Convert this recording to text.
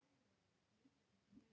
Ljósastaurinn virkaði